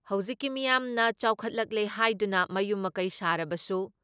ꯍꯧꯖꯤꯛꯀꯤ ꯃꯤꯌꯥꯝꯅ ꯆꯥꯎꯈꯠꯂꯛꯂꯦ ꯍꯥꯏꯗꯨꯅ ꯃꯌꯨꯝ ꯃꯀꯩ ꯁꯥꯔꯕꯁꯨ